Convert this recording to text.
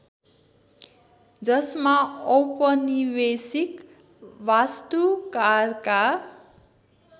जसमा औपनिवेशिक वास्तुकारका